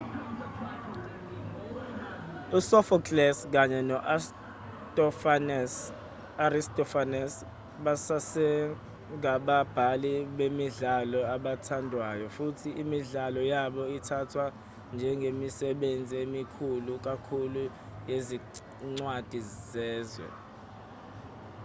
usophocles kanye no-aristophanes basasengababhali bemidlalo abathandwayo futhi imidlalo yabo ithathwa njengemisebenzi emikhulu kakhulu yezincwadi zezwe